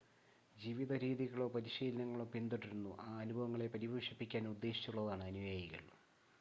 ജീവിത രീതികളോ പരിശീലനങ്ങളോ പിന്തുടരുന്നു ആ അനുഭവങ്ങളെ പരിപോഷിപ്പിക്കാൻ ഉദ്ദേശിച്ചുള്ളതാണ് അനുയായികൾ